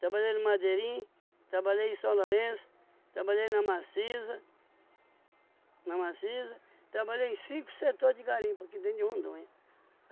trabalhei no Madeirinho, trabalhei em São Lourenço, trabalhei na Maciza, na Maciza, trabalhei em cinco setores de garimpo aqui dentro de Rondônia.